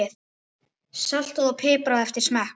Saltað og piprað eftir smekk.